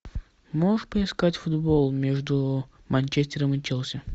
можешь поискать футбол между манчестером и челси